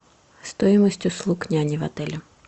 стоимость услуг няни в отеле